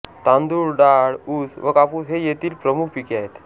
तांदूळ डाळ ऊस व कापूस ही येथील प्रमुख पिके आहेत